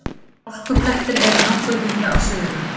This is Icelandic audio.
Hálkublettir eru nokkuð víða á Suðurlandi